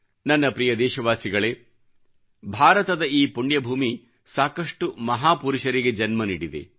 ನನ್ನ ಪ್ರಿಯ ದೇಶವಾಸಿಗಳೇಭಾರತದ ಈ ಪುಣ್ಯ ಭೂಮಿ ಸಾಕಷ್ಟು ಮಹಾಪುರುಷರಿಗೆ ಜನ್ಮ ನೀಡಿದೆ